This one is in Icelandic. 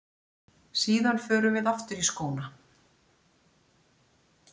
Síðan förum við aftur í skóna.